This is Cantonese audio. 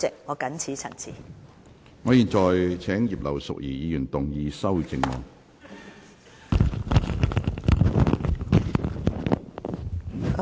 我現在請葉劉淑儀議員動議修正案。